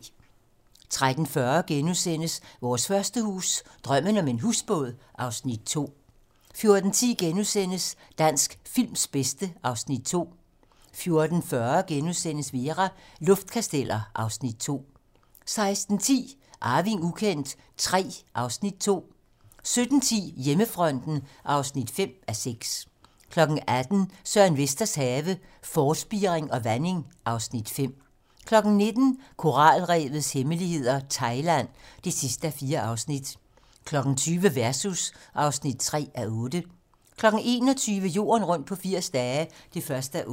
13:40: Vores første hus - Drømmen om en husbåd (Afs. 2)* 14:10: Dansk films bedste (Afs. 2)* 14:40: Vera: Luftkasteller (Afs. 2)* 16:10: Arving ukendt III (Afs. 2) 17:10: Hjemmefronten (5:6) 18:00: Søren Vesters have - Forspiring og vanding (Afs. 5) 19:00: Koralrevets hemmeligheder - Thailand (4:4) 20:00: Versus (3:8) 21:00: Jorden rundt på 80 dage (1:8)